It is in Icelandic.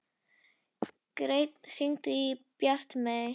Grein, hringdu í Bjartmey.